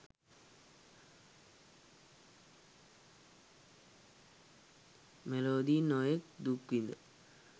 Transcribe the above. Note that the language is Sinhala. මෙලොවදී නොයෙක් දුක්විඳ